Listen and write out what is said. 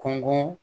Kɔngɔ